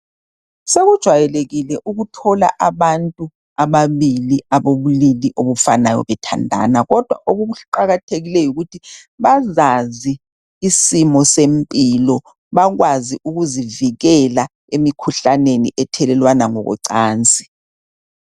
sokujwayelekile ukuthola abantu ababili ababobulili obufanayo bethandana kodwa okuqakathekileyo yikuthi bazazi isimo sempilo bakwazi ukuzivikela emikhuhlaneni ethelelwana ngokwecansi